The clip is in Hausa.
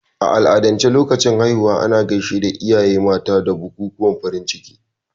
A al'adance a lokacin haihuwa, ana gaishe da iyaye mata da bukukuwan farin ciki.